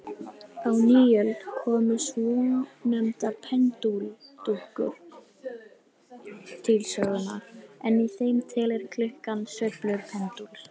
Á nýöld komu svonefndar pendúlklukkur til sögunnar, en í þeim telur klukkan sveiflur pendúls.